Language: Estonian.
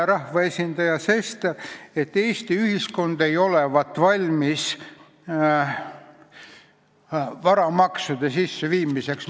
Rahvaesindaja Sester ütles, et Eesti ühiskond ei olevat valmis varamaksude sisseviimiseks.